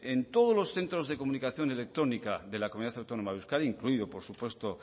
en todos los centros de comunicación electrónica de la comunidad autónoma de euskadi incluido por supuesto